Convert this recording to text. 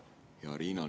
Hea Riina!